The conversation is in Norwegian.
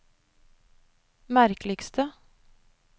merkeligste